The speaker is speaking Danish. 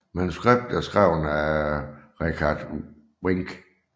Manuskriptet er skrevet af Richard Wenk